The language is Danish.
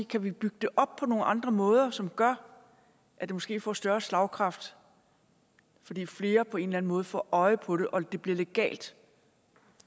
kan bygge det op på nogle andre måder som gør at det måske får større slagkraft fordi flere på en eller anden måde får øje på det og det bliver legalt